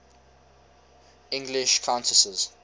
english countesses